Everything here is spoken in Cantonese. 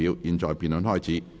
現在辯論開始。